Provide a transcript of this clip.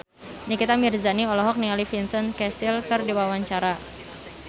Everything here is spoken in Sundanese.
Nikita Mirzani olohok ningali Vincent Cassel keur diwawancara